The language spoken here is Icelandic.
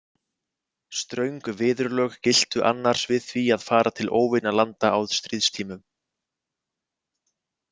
Ströng viðurlög giltu annars við því að fara til óvinalanda á stríðstímum.